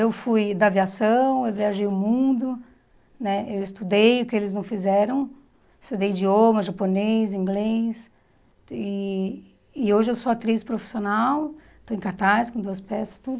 Eu fui da aviação, eu viajei o mundo, né eu estudei o que eles não fizeram, estudei idioma, japonês, inglês, e e hoje eu sou atriz profissional, estou em cartaz com duas peças, tudo.